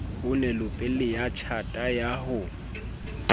onelopele ya tjhata ya ho